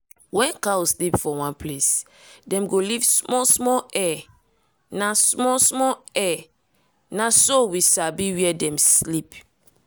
when cow sleep for one place dem go leave small-small hair. na small-small hair. na so we sabi where dem sleep.